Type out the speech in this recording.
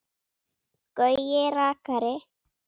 Gaui rakari.